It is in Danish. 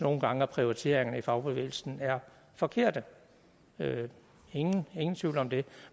nogle gange at prioriteringerne i fagbevægelsen er forkerte ingen tvivl om det